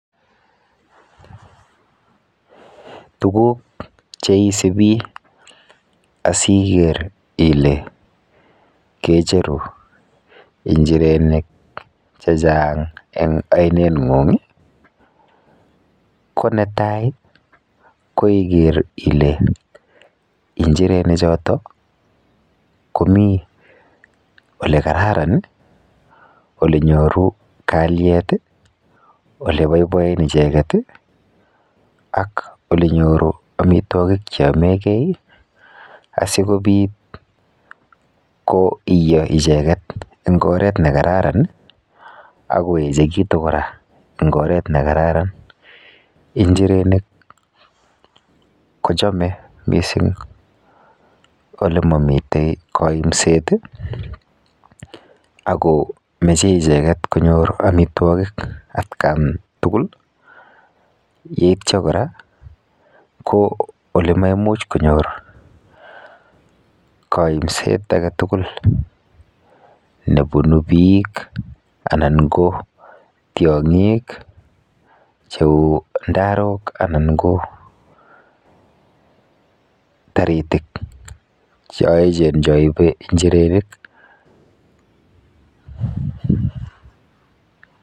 Tuguk cheisibi asiker ile kecheru injirenik chechang eng oineng'ung ko netai ko iker ile injirenichoto komi olekararan, olenyoru kalyet, oleboiboen icheket ak olenyoru amitwokik cheytomegei asikobit koiyo icheket eng oret nekararan akoechekitu kora eng oret nekararan. Injirenik kochome mising olemomite koimset ako meche icheget konyor amitwokik atkan tugul yeityo kora ko olemaimuch konyor kaimset aketugul nebunu biik anan ko tiong'ik cheu ndarok anan ko taritik choechen choibe injirenik.